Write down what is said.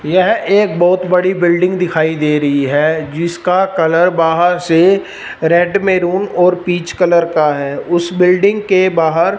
यह एक बहोत बड़ी बिल्डिंग दिखाई दे रही है जिसका कलर बाहर से रेड मैरून और पीच कलर का है उस बिल्डिंग के बाहर --